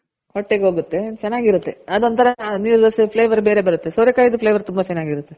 ಹೊಟ್ಟೆಗ್ ಹೋಗುತ್ತೆ ಚೆನಾಗಿರುತ್ತೆ ಅದೊಂತರ ನೀರ್ ದೋಸೆ flavour ಬೇರೆ ಬರುತ್ತೆ ಸೋರೆ ಕಾಯ್ದು flavour ತುಂಬ ಚೆನಾಗಿರುತ್ತೆ.